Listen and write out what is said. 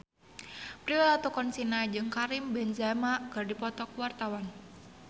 Prilly Latuconsina jeung Karim Benzema keur dipoto ku wartawan